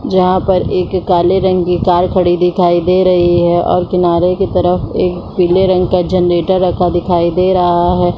जहाँ पर एक काले रंग की कार खड़ी दिखाई दे रही है और किनारे की तरफ एक पीले रंग का जनरेटर रखा दिखाई दे रहा है।